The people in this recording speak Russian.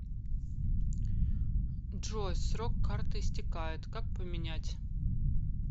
джой срок карты истекает как поменять